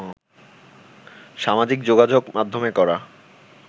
সামাজিক যোগাযোগ মাধ্যমে করা